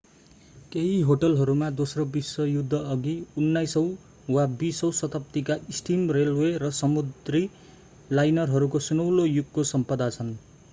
केही होटलहरूमा दोस्रो विश्वयुद्ध अघि 19 औं वा 20 औं शताब्दीका स्टिम रेलवे र समुद्री लाइनरहरूको सुनौलो युगको सम्पदा छन्